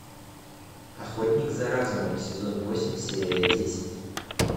охотник за разумом сезон восемь серия десять